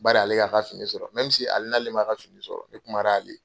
Bari ale y'a ka fini sɔrɔ, si ali n'ale ma ka fini sɔrɔ, ne kuma l'ale ye.